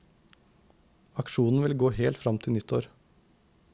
Aksjonen vil gå helt frem til nyttår.